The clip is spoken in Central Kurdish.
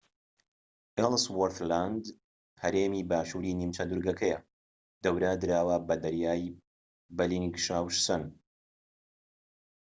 ئێلسوۆرس لاند هەرێمی باشووری نیمچە دورگەکەیە دەورە دراوە بە دەریای بەلینگشاوسەن